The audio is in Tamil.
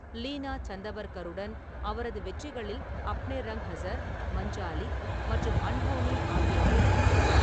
லீனா சந்தவர்கருடன் அவரது வெற்றிகளில் அப்னே ரங் ஹசர், மஞ்சாலி மற்றும் அன்ஹோனி ஆகியவை அடங்கும்.